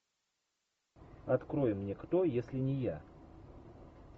открой мне кто если не я